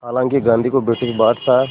हालांकि गांधी को ब्रिटिश बादशाह